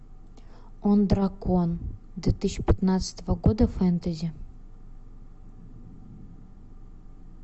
он дракон две тысячи пятнадцатого года фэнтези